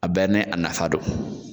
A bɛɛ ni a nafa don